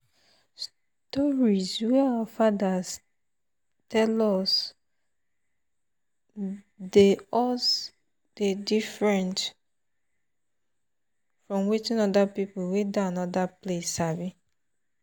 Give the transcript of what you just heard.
stories wey our fathers tell us dey us dey different from wetin other people wey dey another place sabi.